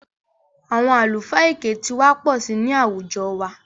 Àwọn àlùfáà èké ti wà pọ̀ sí i ní àwùjọ wa